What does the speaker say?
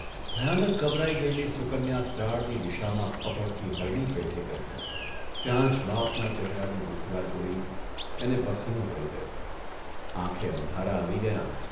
ભયાનક ગભરાઇ ગયેલી સુકન્યા ત્રાડની દિશામાં ફફડતી હરણી પેઠે ગઇ ત્યાં જ બાપના ચહેરાની મુદ્રા જોઇ એને પસીનો વળી ગયો, આંખે અંધારા આવી ગયા